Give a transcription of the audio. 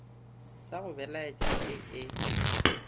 sa go belaetša ee e